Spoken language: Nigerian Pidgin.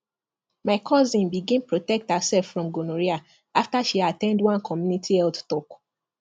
my cousin begin protect herself from gonorrhea after she at ten d one community health talk